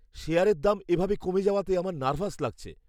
শেয়ারের দাম এভাবে কমে যাওয়াতে আমার নার্ভাস লাগছে!